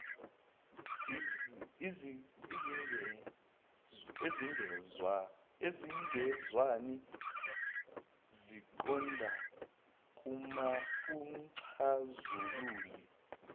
ezingezwani ziqonda kumxazululi